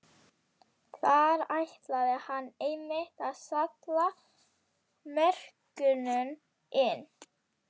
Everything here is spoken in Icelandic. Þar ætlaði hann einmitt að salla mörkunum inn!